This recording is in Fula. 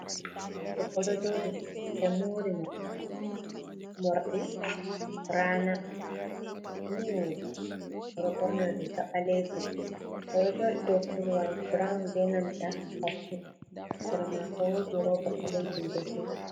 Debbo ɗo jooɗi ɓe moori mo moorɗi raana, ni wooɗuki. O ɗo ɓorni riiga ɓaleejum, o ɗo jooɗi dow korowal burawun be nanta koffi, sera maako woodi rooba ɓaleejum be bulu.